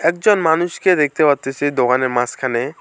একজন মানুষকে দেখতে পারতেছি দোকানের মাঝখানে।